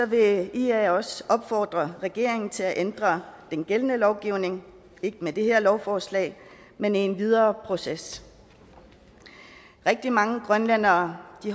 vil ia også opfordre regeringen til at ændre den gældende lovgivning ikke med det her lovforslag men i en videre proces rigtig mange grønlændere